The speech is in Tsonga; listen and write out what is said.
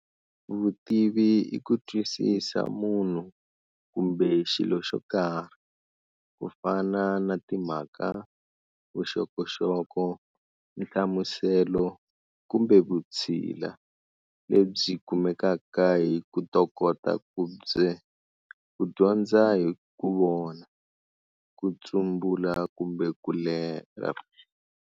Vutivi i ku twisisa munhu kumbe xilo xo karhi, kufana na timhaka, vuxokoxoko, nhlamuselo, kumbe vutshila, lebyi kumekaka hi kutokota kubye kudyondza hi ku vona, kutsumbula kumbe kulerha.